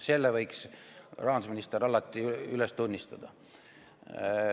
Selle võiks rahandusminister üles tunnistada.